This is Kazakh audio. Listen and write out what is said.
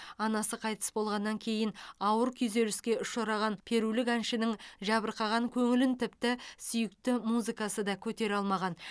анасы қайтыс болғаннан кейін ауыр күйзеліске ұшыраған перулік әншінің жабырқаған көңілін тіпті сүйікті музыкасы да көтере алмаған